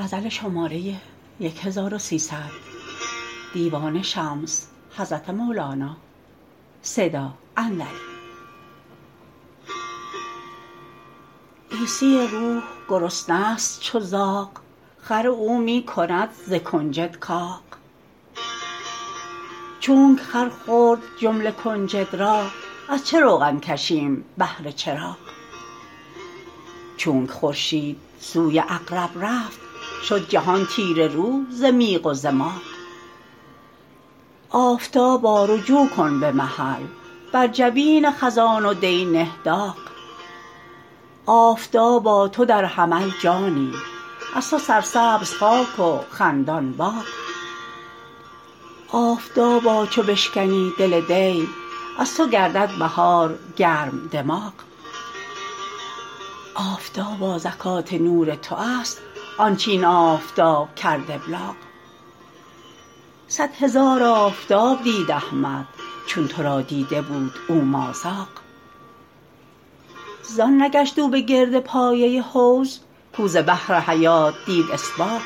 عیسی روح گرسنه ست چو زاغ خر او می کند ز کنجد کاغ چونک خر خورد جمله کنجد را از چه روغن کشیم بهر چراغ چونک خورشید سوی عقرب رفت شد جهان تیره رو ز میغ و ز ماغ آفتابا رجوع کن به محل بر جبین خزان و دی نه داغ آفتابا تو در حمل جانی از تو سرسبز خاک و خندان باغ آفتابا چو بشکنی دل دی از تو گردد بهار گرم دماغ آفتابا زکات نور تو است آنچ این آفتاب کرد ابلاغ صد هزار آفتاب دید احمد چون تو را دیده بود او مازاغ زان نگشت او بگرد پایه حوض کو ز بحر حیات دید اسباغ